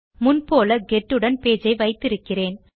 முன் போல் கெட் உடன் பேஜ் ஐ வைத்திருக்கிறேன்